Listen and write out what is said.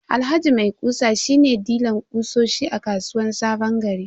Alhaji maikusa shi ne dilan kutsosi a kasuwan sabongari.